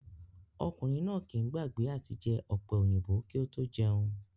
Ọkùnrin náà kìí gbàgbé àti jẹ ọ̀pẹ̀-òyìnbò kí ó tó jẹun